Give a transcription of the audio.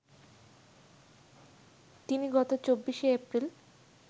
তিনি গত ২৪শে এপ্রিল